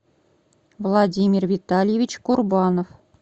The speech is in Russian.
владимир витальевич курбанов